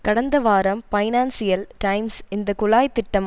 கடந்த வாரம் Financial Times இந்த குழாய் திட்டம்